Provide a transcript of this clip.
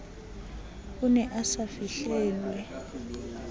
a ne a sa fihlelwe